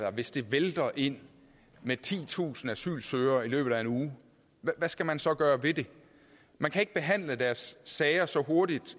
og hvis det vælter ind med titusind asylsøgere i løbet af en uge hvad skal man så gøre ved det man kan ikke behandle deres sager så hurtigt